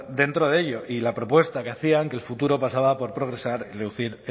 dentro de ello y la propuesta que hacían que el futuro pasaba por progresar reducir